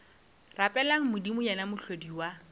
rapeleng modimo yena mohlodi wa